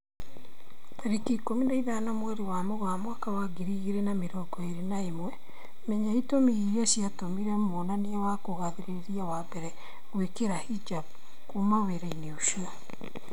Tarĩki ikũmi na ithano mweri wa Mũgaa mwaka wa ngiri igĩri na mĩrongo ĩri na ĩmwe, Menya itũmi irĩa ciatũmire mwonania wa kugathĩrĩria wa mbere gwĩkira hijab "kuma wĩra-inĩ ucio"